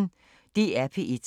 DR P1